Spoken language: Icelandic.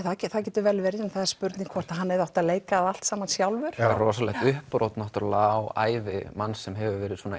það getur vel verið en það er spurning hvort að hann hefði átt að leika það allt saman sjálfur rosalegt uppbrot á ævi manns sem hefur verið svona